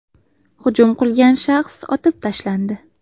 Hujum qilgan shaxs otib tashlandi.